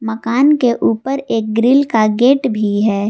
मकान के ऊपर एक ग्रिल का गेट भी है।